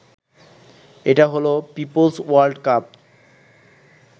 এটা হলো people's world cup